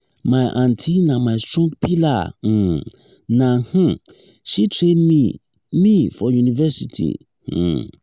my aunty na my strong pillar um na um she train me me for university. um